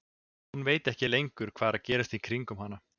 Hún veit ekki lengur hvað er að gerast í kringum hana.